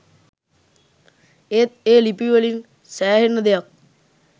ඒත් ඒ ලිපිවලින් සෑහෙන්න දෙයක්